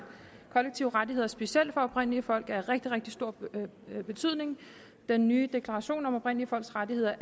kollektive rettigheder specielt for oprindelige folk er af rigtig rigtig stor betydning den nye deklaration om oprindelige folks rettigheder